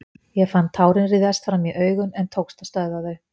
Ég fann tárin ryðjast fram í augun en tókst að stöðva þau.